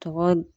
Tɔgɔ